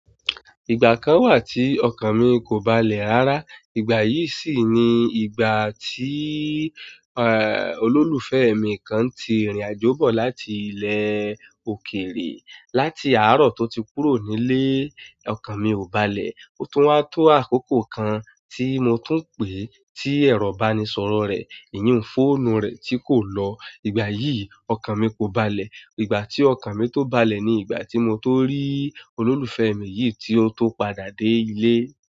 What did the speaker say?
Ìgbà kan wà tí ọkàn mi kò balẹ̀ rárá. Ìgbà yìí sì ni ìgbà tí, eh, olólùfẹ́ mi kan ti ìrìnàjò bọ̀ láti ilẹ̀ òkèèrè. Láti àárọ̀ tó ti kúrò nílé, ọkàn mi ò balẹ̀. Ó tún wá tó àkókò kan tí mo tún pèé tí ẹ̀rọ ìbánisọ̀rọ̀ rẹ̀, ìnyun fóònù rẹ̀ tí kò lọ. Ìgbà yìí, ọkàn mi kò balẹ̀. Ìgbà tí ọkàn mi tó balẹ̀ ni ìgbà tí mo tóó rí olólùfẹ́ mi yìí tí ó tó padà dé ilé.